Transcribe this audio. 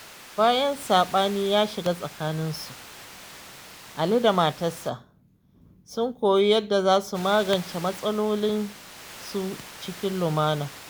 Bayan saɓani ya shiga tsakaninsu, Ali da matarsa sun koyi yadda za su magance matsalolinsu cikin lumana.